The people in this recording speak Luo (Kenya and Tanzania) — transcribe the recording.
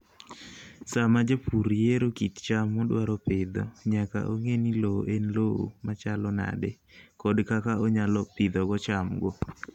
Sama japur yiero kit cham modwaro pidho, nyaka ong'e ni lowo en lowo machalo nade kod kaka onyalo pidhogo chamgo.